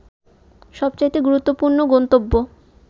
সবচাইতে গুরুত্বপূর্ন গন্তব্য